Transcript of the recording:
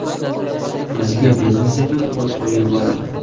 o‘ziga benzin sepib, o‘t qo‘yib yuboradi.